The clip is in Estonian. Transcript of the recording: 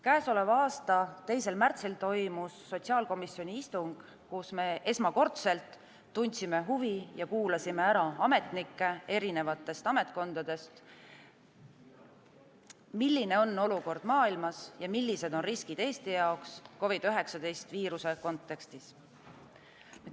Käesoleva aasta 2. märtsil toimus sotsiaalkomisjoni istung, kus me esmakordselt tundsime huvi ja kuulasime ära ametnikke erinevatest ametkondadest, et teada saada, milline on olukord maailmas ja millised on riskid Eesti jaoks COVID-19 viiruse kontekstis.